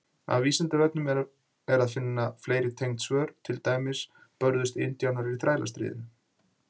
Á Vísindavefnum er að finna fleiri tengd svör, til dæmis: Börðust indjánar í Þrælastríðinu?